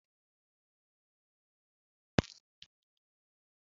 Ọ dị mma iri Nụ́dúls na-enweghị akwụkwọ nri?